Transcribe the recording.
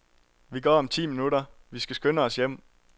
Vi går om ti minutter, vi skal skynde os hjem.